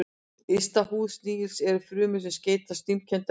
Yst í húð snigilsins eru frumur sem seyta slímkenndu efni.